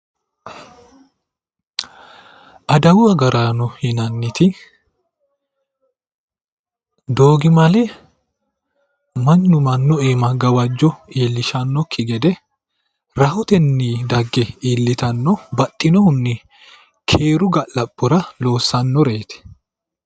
Adawu agaraano yinnaniti doogimale mannu mannu iima gawajjo iillishanokki gede rahotenni dagge iillittano baxxinohunni keeru ga'labbora loossannoreti